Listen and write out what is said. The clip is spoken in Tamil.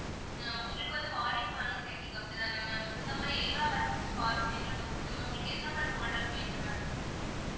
ஆஹ் உங்களுக்கு வந்து வாடகைக்கு வேணும் கேட்டீங்க அப்படிதான maa'am இந்த மாதிரி எல்லாம் varieties of cars உம் எங்ககிட்ட உண்டு ma'am உங்களுக்கு எந்த மாதிரி model வேணும் ma'am